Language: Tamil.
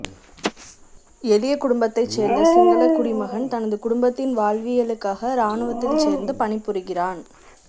எளிய குடும்பத்தைச் சேர்ந்த சிங்களக் குடிமகன் தனது குடும்பத்தின் வாழ்வியலுக்காக ராணுவத்தில் சேர்ந்து பணிபுரிகிறான்